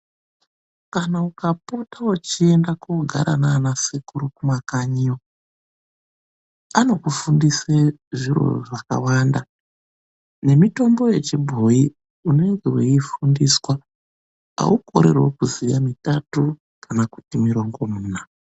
Kana ukapota uchienda kunogara nana sekuru kumakanyiyo, anokufudise zviro zvakawanda nemitombo yechibhoyi. Unenge wei fundiswa, haukoreriwo kuziya mitatu kana kuti mirongomuna.